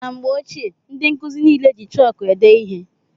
Na mgbe ochie ndị nkụzi niile jị chọọku ede ihe.